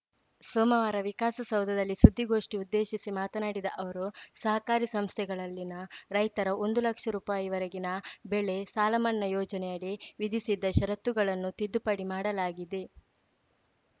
ಸೋಮವಾರ ವಿಕಾಸಸೌಧದಲ್ಲಿ ಸುದ್ದಿಗೋಷ್ಠಿ ಉದ್ದೇಶಿಸಿ ಮಾತನಾಡಿದ ಅವರು ಸಹಕಾರಿ ಸಂಸ್ಥೆಗಳಲ್ಲಿನ ರೈತರ ಒಂದು ಲಕ್ಷ ರೂಪಾಯಿವರೆಗಿನ ಬೆಳೆ ಸಾಲಮನ್ನಾ ಯೋಜನೆಯಡಿ ವಿಧಿಸಿದ್ದ ಷರತ್ತುಗಳನ್ನು ತಿದ್ದುಪಡಿ ಮಾಡಲಾಗಿದೆ